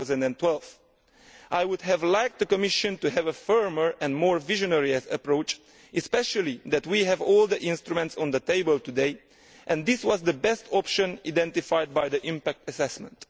2012. I would have liked the Commission to have had a firmer and more visionary approach, especially since we have all the instruments on the table today and this was the best option identified by the impact assessment.